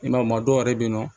I m'a ye ma dɔw yɛrɛ be yen nɔ